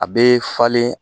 A bɛ falen